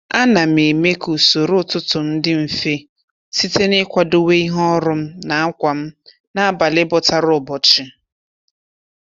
A na m eme ka usoro ụtụtụ m dị mfe site n'ịkwadowe ihe ọrụ m na ákwà m n'abalị bọtara ụbọchị.